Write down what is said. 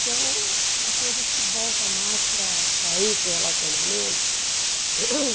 Então a coisa se volta mais para para esse relacionamento uhum.